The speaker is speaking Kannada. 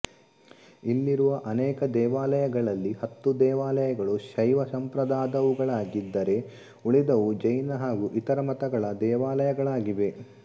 ಇಲ್ಲಿರುವ ಅನೇಕ ದೇವಾಲಯಗಳಲ್ಲಿ ಹತ್ತು ದೇವಾಲಯಗಳು ಶೈವ ಸಂಪ್ರದಾದವುಗಳಾಗಿದ್ದರೆ ಉಳಿದವು ಜೈನ ಹಾಗು ಇತರ ಮತಗಳ ದೇವಾಲಯಗಳಾಗಿವೆ